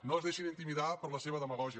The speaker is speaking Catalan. no es deixin intimidar per la seva demagògia